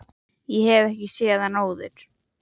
Ég hef ekki séð hann áður.